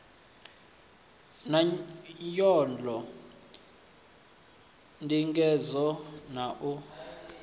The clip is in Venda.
na nyolo ndingedzo na u